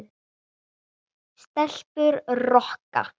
Stelpur Rokka!